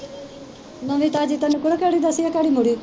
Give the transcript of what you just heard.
ਨਵੀਂ ਤਾਜ਼ੀ ਤੈਨੂੰ ਕੁੜੇ ਕਿਹੜੀ ਦੱਸੀਏ ਘੜੀ ਮੁੜੀ